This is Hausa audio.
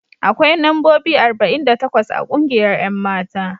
Akwai mambobi arba'in da takwas a kungiyar 'yan mata.